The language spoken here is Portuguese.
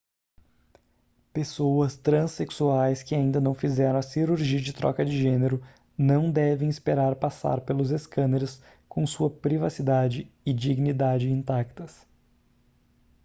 pessoas transexuais que ainda não fizeram a cirurgia de troca de gênero não devem esperar passar pelos escâneres com sua privacidade e dignidade intactas